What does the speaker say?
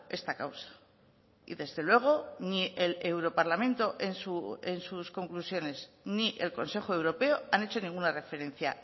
esta causa y desde luego ni el europarlamento en sus conclusiones ni el consejo europeo han hecho ninguna referencia